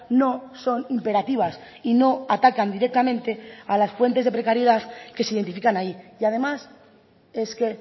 no son imperativas y no atacan directamente a las fuentes de precariedad que se identifican ahí y además es que